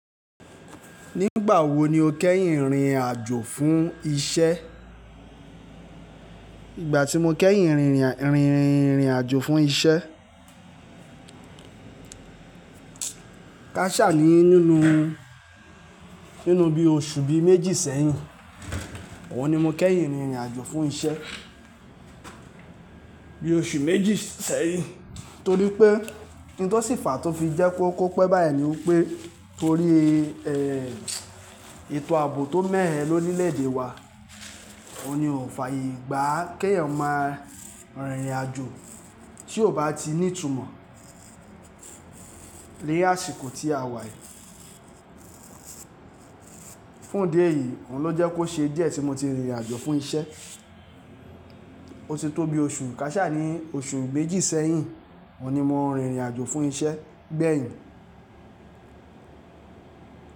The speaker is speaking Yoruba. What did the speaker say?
Nígbà wo ni o kẹ́yìn rìnrìn àjò fún isẹ́? Ìgbà tí mo kẹ́yìn rìnrìn, rìnrìn àjò fún isẹ́, káṣà ni nínú, nínú bí oṣù bí méjì sẹ́yìn. Òun ni mo kẹ́yìn rìnrìn àjò fún isẹ́. Bí oṣù méjì sẹ́yìn. Torí pé, ohun tó sì fàá tó fi jẹ́ kó pẹ́ báyìí ni wípé torí, ẹ́, ètò àbò tó mẹhẹ́ lọ rílẹ̀ èdè wa. Ó ní ó fà ye, gbà kéèyàn maá rìnrìn àjò tí ò bá ti ní ìtumọ̀ ni àsìkò tí a wà yìí. Fún ìdí eyìí, òun ló jẹ́ kó ṣe díẹ̀ tí mo ti rìnrìn àjò fún isẹ́. Ó ti tó bi oṣù káṣà ni oṣù mejì sẹ́yìn, òun ni mo ń rìnrìn àjò fún isẹ́ gbẹ́yìn.